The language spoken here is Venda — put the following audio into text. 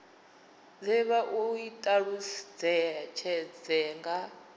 de vha i talutshedze nga